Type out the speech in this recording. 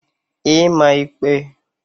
ịma ịkpe